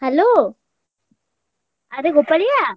Hello ଆରେ ଗୋପାଳିଆ!